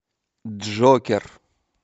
джокер